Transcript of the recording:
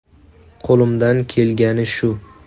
Qo‘limdan kelgani shu.